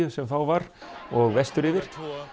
sem þá var og vestur yfir